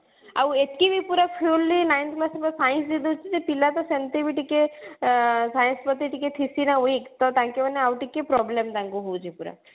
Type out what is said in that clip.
ଆଉ ଏତିକି ବି ପୁରା fluently nine class ର science ଅଛି class ସେ ପିଲା ତ ସେମିତି ବି ଟିକେ ଆଁ science ପ୍ରତି ଟିକେ weak ତ ତାଙ୍କ ମାନେ ଆଉ ଟିକେ problem ତାଙ୍କୁ ହଉଛି ପୁରା